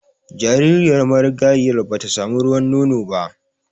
Jaririyar marigayiyar ba ta samu ruwan nono ba